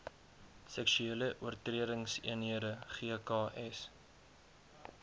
seksuele oortredingseenhede gks